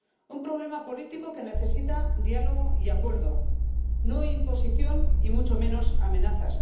Un problema político que necesita diálogo y acuerdo, no imposición y mucho menos amenazas.